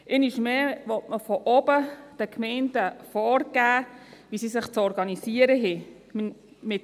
Einmal mehr will man den Gemeinden von oben vorgeben, wie sie sich zu organisieren haben.